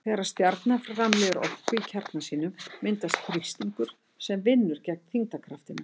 Þegar stjarna framleiðir orku í kjarna sínum myndast þrýstingur sem vinnur gegn þyngdarkraftinum.